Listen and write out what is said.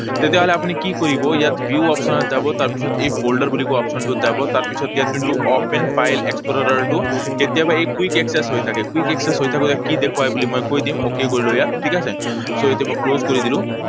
তেতিয়াহলে আপুনি কি কৰিব? ইয়াত view option ত যাব। তাৰপিছত এই folder বুলি কোৱা option টোত যাব, তাৰপিছত ইয়াত যোনটো open file explorer টো, কেতিয়াবা এই quick access হৈ থাকে। Quick access হৈ থাকোঁতে কি দেখুৱাই বুলি মই কৈ দিওঁ। Okay কৰিলো ইয়াত, ঠিক আছে? So, এইটো মই close কৰি দিলো।